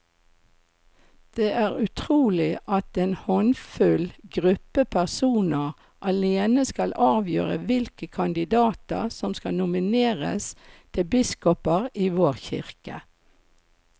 Det er utrolig at en håndfull gruppe personer alene skal avgjøre hvilke kandidater som skal nomineres til biskoper i vår kirke.